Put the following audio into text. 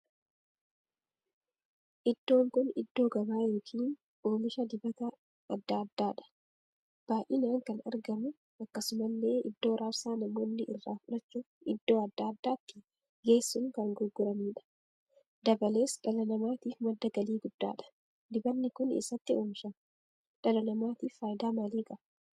Iddoon kun iddoo gabaa ykn oomisha dibata addaa addaadha. baay'inaan kan argamuudha. akkasumallee iddoo raabsaa namoonni irraa fudhachuuf iddoo addaa addaatti geessuun kan gurguraniidha. dabalees dhala namaatiif madda galii guddaadha. dibanni kuni eessatti oomishama? dhala namaatiif faayidaa maalii qaba?